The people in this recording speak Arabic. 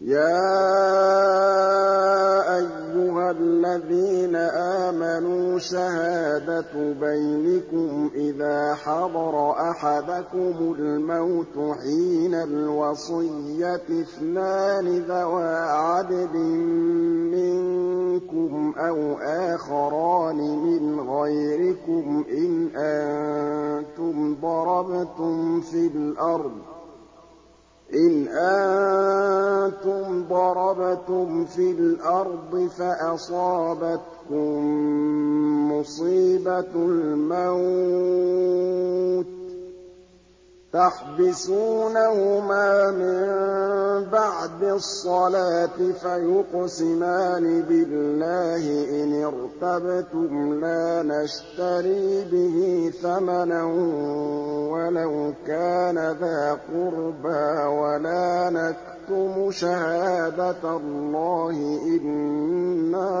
يَا أَيُّهَا الَّذِينَ آمَنُوا شَهَادَةُ بَيْنِكُمْ إِذَا حَضَرَ أَحَدَكُمُ الْمَوْتُ حِينَ الْوَصِيَّةِ اثْنَانِ ذَوَا عَدْلٍ مِّنكُمْ أَوْ آخَرَانِ مِنْ غَيْرِكُمْ إِنْ أَنتُمْ ضَرَبْتُمْ فِي الْأَرْضِ فَأَصَابَتْكُم مُّصِيبَةُ الْمَوْتِ ۚ تَحْبِسُونَهُمَا مِن بَعْدِ الصَّلَاةِ فَيُقْسِمَانِ بِاللَّهِ إِنِ ارْتَبْتُمْ لَا نَشْتَرِي بِهِ ثَمَنًا وَلَوْ كَانَ ذَا قُرْبَىٰ ۙ وَلَا نَكْتُمُ شَهَادَةَ اللَّهِ إِنَّا